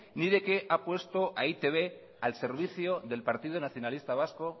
ni de que ha puesto a e i te be al servicio del partido nacionalista vasco